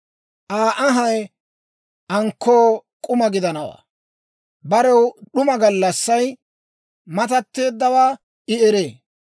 Aa anhay ankkoo k'uma gidanawaa; barew d'uma gallassay matatteeddawaa I eree.